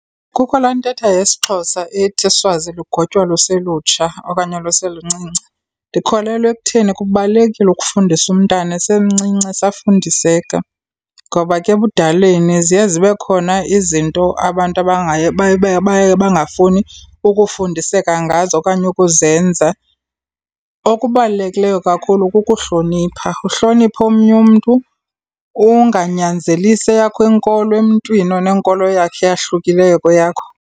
Kukho laa ntetha yesiXhosa ethi uswazi lugotywa luselutsha okanye luseluncinci. Ndikholelwa ekutheni kubalulekile ukufundisa umntana esemncinci esafundiseka, ngoba ke ebudaleni ziye zibe khona izinto abantu baye baye baye bangafuni ukufundiseka ngazo okanye ukuzenza. Okubalulekileyo kakhulu kukuhlonipha, uhloniphe omnye umntu unganyanzelisi eyakho inkolo emntwini onenkolo yakhe eyahlukileyo kweyakho.